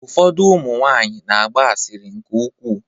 Ụfọdụ ụmụ nwaanyị na-agba asịrị nke ukwuu.